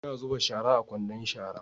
Ina zuba shara a kwandon shara